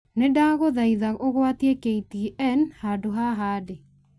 nĩ ndaguthaitha ũgwatie k.t.n handũ haaha ndĩ